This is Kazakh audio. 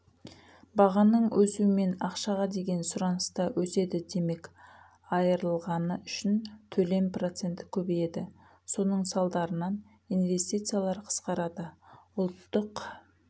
бағаның өсуімен ақшаға деген сұраныста өседі демек айырылғаны үшін төлем проценті көбейеді соның салдарынаң инвестициялар қысқарады ұлттық